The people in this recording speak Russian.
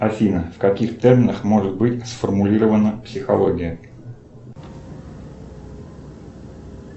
афина в каких терминах может быть сформулирована психология